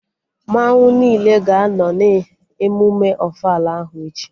Mmanwụ niile ga-anọ na emụme ofala ahụ echi